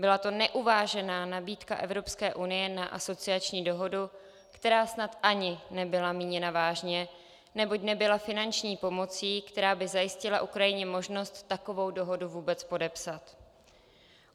Byla to neuvážená nabídka EU na asociační dohodu, která snad ani nebyla míněna vážně, neboť nebyla finanční pomocí, která by zajistila Ukrajině možnost takovou dohodu vůbec podepsat.